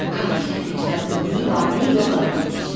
Qatil sələmçi qadının nəyi var idi, nəyi yox idi, götürüb gedib.